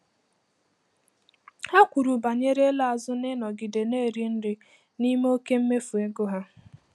Ha kwuru banyere ịla azụ n'ịnọgide na-eri nri n'ime oke mmefu ego ha.